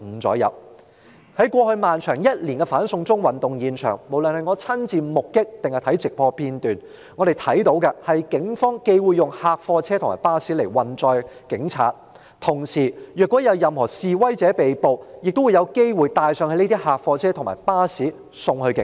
在過去一年漫長的"反送中"運動現場，無論是親眼目擊或觀看直播片段，我們看到警方既會用客貨車和巴士來運載警察，同時若有任何示威者被捕，他們亦有機會被帶上這些客貨車和巴士送往警署。